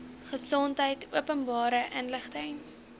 gesondheid openbare inligting